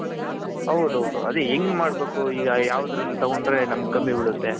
ಹೌದ್ ಹೌದ್ ಅದೇ ಹೆಂಗ್ ಮಾಡ್ಬೇಕು ಈಗ ಯಾವ್ದುರಲ್ಲಿ ತಗೊಂಡ್ರೆ ಕಮ್ಮಿ ಬಿಳುತ್ತೆ.